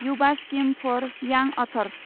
Yuva scheme for यां others